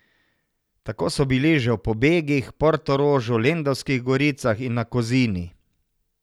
Tako so bili že v Pobegih, Portorožu, Lendavskih goricah in na Kozini.